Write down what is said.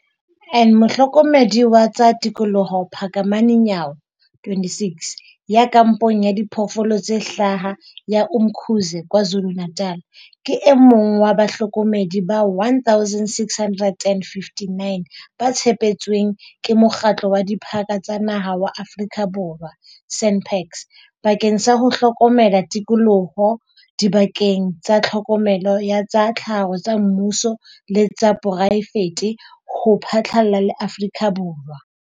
En Mohlokomedi wa tsa tikoloho Phakamani Nyawo twenty six, ya kampong ya Diphoofolo tse Hlaha ya Umkhuze KwaZulu-Natal, ke e mong wa bahlokomedi ba 1 659 ba tshepetsweng ke Mokgatlo wa Diphaka tsa Naha wa Aforika Borwa SANParks, bakeng sa ho hlokomela tikoloho dibakeng tsa tlhokomelo ya tsa tlhaho tsa mmuso le tsa poraefete ho phatlalla le Aforika Borwa.